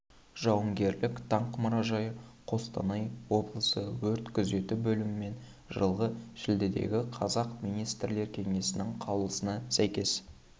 жауынгерлік даңқ мұражайы қостанай облысы өрт күзеті бөлімімен жылғы шілдедегі қазақ министрлер кеңесінің қаулысына сәйкес